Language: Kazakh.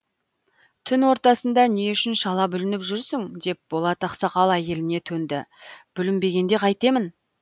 түн ортасында не үшін шала бүлініп жүрсің деп болат ақсақал әйеліне төнді бүлінбегенде қайтемін